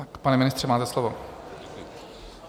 Pane ministře, máte slovo.